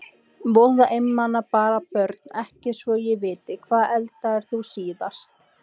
Voða einmana bara Börn: Ekki svo ég viti Hvað eldaðir þú síðast?